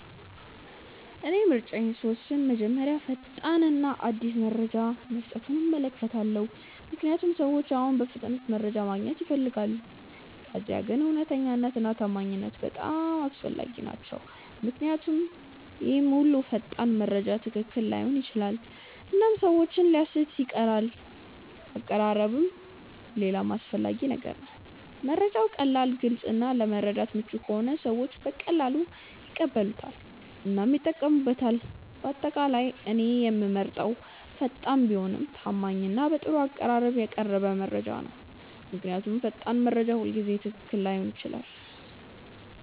እኔ ምርጫዬን ስወስን መጀመሪያ ፈጣን እና አዲስ መረጃ መስጠቱን እመለከታለሁ፣ ምክንያቱም ሰዎች አሁን በፍጥነት መረጃ ማግኘት ይፈልጋሉ። ከዚያ ግን እውነተኛነት እና ታማኝነት በጣም አስፈላጊ ናቸው ምክንያቱም ሁሉም ፈጣን መረጃ ትክክል ላይሆን ይችላል እና ሰዎችን ሊያሳስት ይችላል አቀራረብም ሌላ አስፈላጊ ነገር ነው፤ መረጃው ቀላል፣ ግልጽ እና ለመረዳት ምቹ ከሆነ ሰዎች በቀላሉ ይቀበሉታል እና ይጠቀሙበታል። በአጠቃላይ እኔ የምመርጠው ፈጣን ቢሆንም ታማኝ እና በጥሩ አቀራረብ የቀረበ መረጃ ነው። ምክንያቱም ፈጣን መረጃ ሁልጊዜ ትክክል ላይሆን ይችላል።